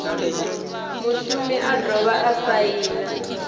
mushumi a dovha a saina